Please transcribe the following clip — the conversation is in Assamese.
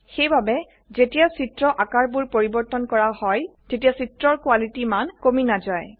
সেইবাবে যেতিয়া চিত্ৰ আকাৰবোৰ পৰিবৰ্তন কৰা হয় তেতিয়া চিত্ৰ কোৱালিতি মান কমি নাজায়